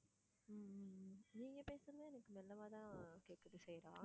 ஹம் ஹம் நீங்க பேசுறதும் எனக்கு மெல்லமா தான் கேக்குது சைரா.